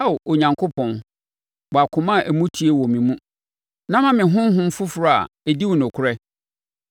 Ao Onyankopɔn, bɔ akoma a emu teɛ wɔ me mu, na ma me honhom foforɔ a ɛdi wo nokorɛ.